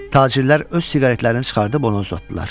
Tacirlər öz siqaretlərini çıxardıb ona uzatdılar.